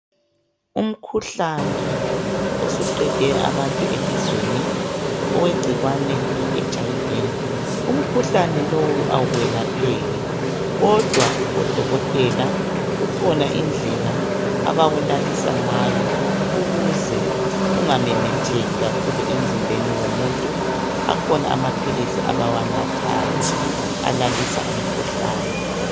Umhkuhlane osuqede abantu elizweni owegcikwane leHIV umkhuhlane lowu awuwelapheki kodwa odokotela kukhona indlela abawulalisa ngayo ukuze ungamemetheki kakhulu emzimbeni womuntu akhona amaphilisi abawanathayo alalisa ukhuhlane